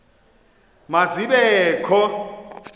ma zibe kho